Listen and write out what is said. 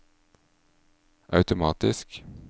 automatisk